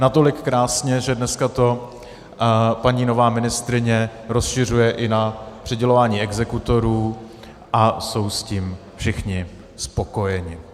Natolik krásně, že dneska to paní nová ministryně rozšiřuje i na přidělování exekutorů a jsou s tím všichni spokojeni.